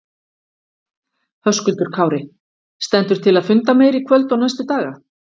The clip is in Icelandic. Höskuldur Kári: Stendur til að funda meira í kvöld og næstu daga?